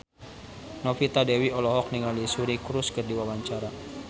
Novita Dewi olohok ningali Suri Cruise keur diwawancara